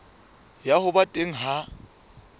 ya ho ba teng ha